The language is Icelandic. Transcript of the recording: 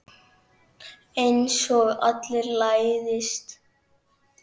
Einsog allir læðist.